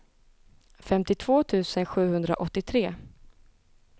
femtiotvå tusen sjuhundraåttiotre